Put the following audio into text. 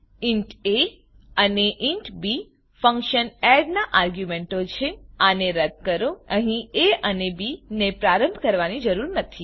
int A અને int B function add નાં આર્ગ્યુંમેંટો છે આને રદ્દ કરો અહીં એ અને બી ને પ્રારંભ કરવાની જરૂર નથી